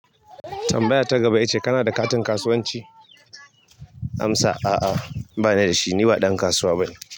Tambaya ta gaba ita ce kana da katin kasuwanci? Amsa a'a ba ni da shi. Ni ba ɗan kasuwa bane.